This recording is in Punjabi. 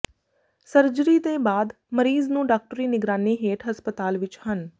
ਸਰਜਰੀ ਦੇ ਬਾਅਦ ਮਰੀਜ਼ ਨੂੰ ਡਾਕਟਰੀ ਨਿਗਰਾਨੀ ਹੇਠ ਹਸਪਤਾਲ ਵਿਚ ਹਨ